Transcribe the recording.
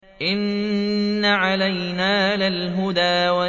إِنَّ عَلَيْنَا لَلْهُدَىٰ